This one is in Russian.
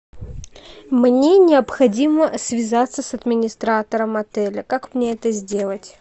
мне необходимо связаться с администратором отеля как мне это сделать